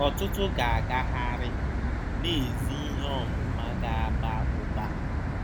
Ọtụtụ ga-agagharị, na ezi ihe ọmụma ga-aba ụba.